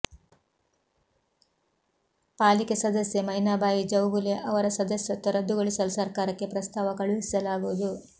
ಪಾಲಿಕೆ ಸದಸ್ಯೆ ಮೈನಾಬಾಯಿ ಚೌಗುಲೆ ಅವರ ಸದಸ್ಯತ್ವ ರದ್ದುಗೊಳಿಸಲು ಸರ್ಕಾರಕ್ಕೆ ಪ್ರಸ್ತಾವ ಕಳುಹಿಸಲಾಗುವುದು